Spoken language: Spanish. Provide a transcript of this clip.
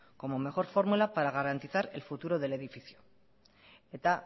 como mejor fórmula para garantizar el futuro del edificio eta